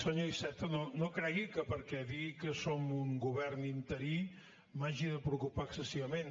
senyor iceta no cregui que perquè digui que som un govern interí m’hagi de preocupar excessivament